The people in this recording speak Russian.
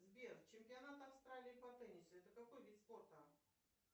сбер чемпионат австралии по теннису это какой вид спорта